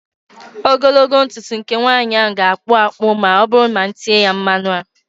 Ogologo ntutu nke nwaanyị ahụ ga-akpụ akpụ ma oburu na m etee ya mmanu a